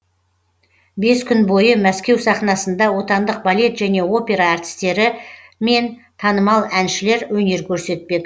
бес күн бойы мәскеу сахнасында отандық балет және опера әртістері мен танымал әншілер өнер көрсетпек